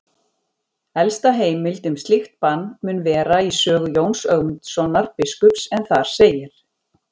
Elsta heimild um slíkt bann mun vera í sögu Jóns Ögmundssonar biskups en þar segir: